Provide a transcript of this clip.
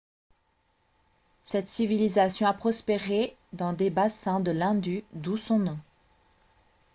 cette civilisation a prospéré dans les bassins de l'indus d'où son nom